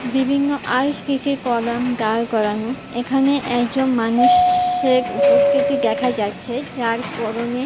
বিভিন্ন দাঁড় করানো এখানে একজন মানুষের উপস্থিতি দেখা যাচ্ছে যার পরনে --